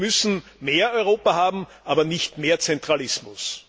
Wir müssen mehr Europa haben, aber nicht mehr Zentralismus!